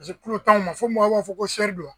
Paseke kulo t'anw ma fo maaw b'a fɔ ko don.